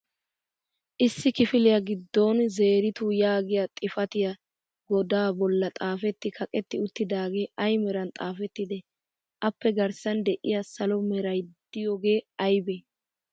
Issi kifiliya giddon "Zeritu" yaagiya xifatiya goda bolla xaafeti kaaqeti uttidaage ay meran xaafettide? Appe garssan de'iyaa salo meray diyooge aybe?